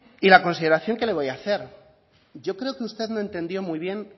y la consideración que le voy a hacer yo creo que usted no entendió muy bien